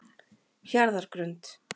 Hjarðargrund